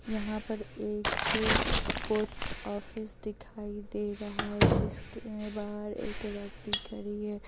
यहां पर एक पोस्ट ऑफिस दिखाई दे रहा है जिसके बाहर एक व्यक्ति खड़ी है।